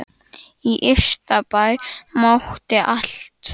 Í Ystabæ mátti allt.